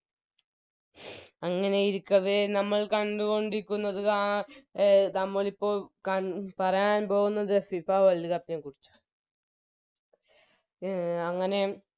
അങ്ങനെ ഇരിക്കവേ നമ്മൾ കണ്ടുകൊണ്ടിരിക്കുന്നത് ആ എ നമ്മളിപ്പോൾ പറയാൻ പോകുന്നത് FIFA World cup നെ ക്കുറിച്ചിട്ടാണ് എ അങ്ങനെ